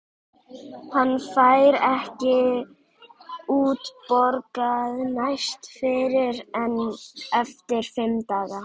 Hann fær ekki útborgað næst fyrr en eftir fimm daga.